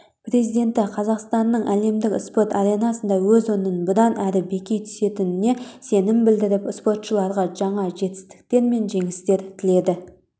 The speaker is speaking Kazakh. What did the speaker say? президенті қазақстанның әлемдік спорт аренасында өз орнын бұдан әрі бекемдей түсетініне сенім білдіріп спортшыларға жаңа жетістіктер мен жеңістер тіледі